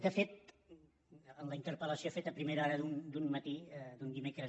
de fet en la interpel·lació feta a primera hora d’un matí d’un dimecres